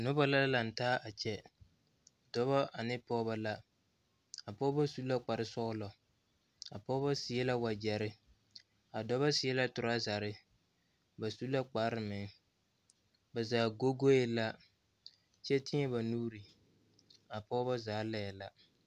Noba la lantaa a kyɛ dɔba ane pɔgeba la a pɔgeba su la kpar sɔgelɔ a pɔgeba seɛ la wagyɛre a dɔba seɛ la toraazare ba su la kpar meŋ ba zaa go goe la kyɛ teɛ ba nuure a pɔgeba zaa lae la